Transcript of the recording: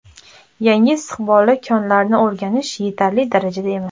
Yangi istiqbolli konlarni o‘rganish yetarli darajada emas.